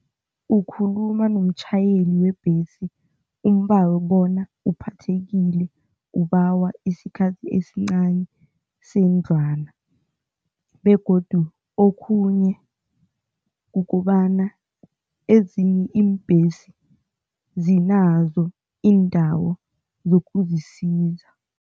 Ukhuluma nomtjhayeli webhesi ubawa bona uphathethekile ubawa isikhathi esincani sendlwana begodu okhunye kukobana ezinye iimbhesi zinazo indawo zokuzisiza.